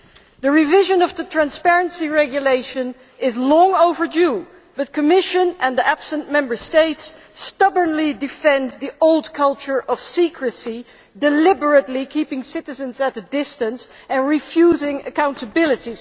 The revision of the Transparency Regulation is long overdue, but the Commission and the absent Member States stubbornly defend the old culture of secrecy, deliberately keeping citizens at a distance and refusing accountability.